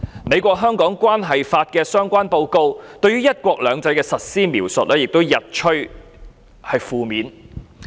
《美國―香港政策法》的相關報告，對於"一國兩制"的實施描述也日趨負面。